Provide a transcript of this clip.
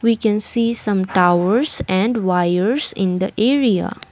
we can see some towers and wires in the area.